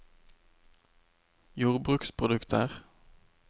jordbruksprodukter